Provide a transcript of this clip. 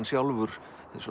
sjálfur